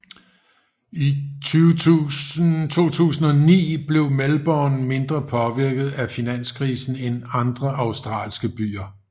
I 2009 blev Melbourne mindre påvirket af finanskrisen end andre australske byer